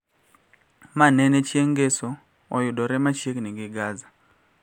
Ma nene chieng` Ngeso oyudore machiegni gi Gaza